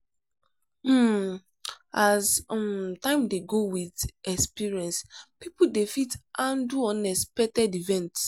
um as um time dey go with experience pipo dey fit handle unexpected events